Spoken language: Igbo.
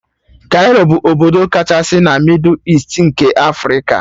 Kairo bụ obodo kachasị na mịdụ Easti nke Afrika